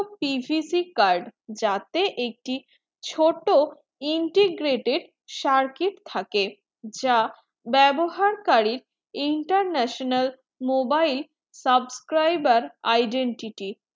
PVC card যাতে একটি ছোট integrated circuit থাকে যা বেবহার কারী international mobile subscriber identity